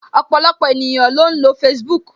Ọpọlọpọ ènìyàn ló ń lo Facebook